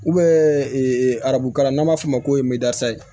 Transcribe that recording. arabu kalan n'an b'a f'o ma ko